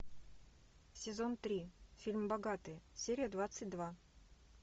сезон три фильм богатые серия двадцать два